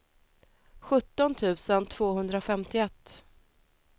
sjutton tusen tvåhundrafemtioett